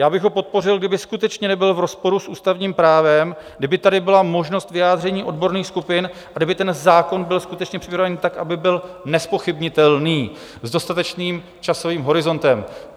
Já bych ho podpořil, kdyby skutečně nebyl v rozporu s ústavním právem, kdyby tady byla možnost vyjádření odborných skupin a kdyby ten zákon byl skutečně připravený tak, aby byl nezpochybnitelný, s dostatečným časovým horizontem.